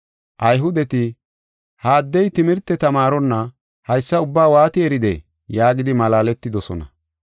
Ayhudeti, “Ha addey timirte tamaaronna haysa ubbaa waati eridee?” yaagidi malaaletidosona.